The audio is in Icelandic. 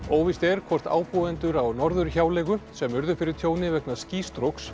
óvíst er hvort ábúendur í Norðurhjáleigu sem urðu fyrir tjóni vegna